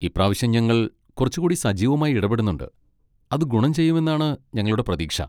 ഇപ്രാവശ്യം ഞങ്ങൾ കുറച്ചുകൂടി സജീവമായി ഇടപെടുന്നുണ്ട്, അത് ഗുണം ചെയ്യുമെന്നാണ് ഞങ്ങളുടെ പ്രതീക്ഷ.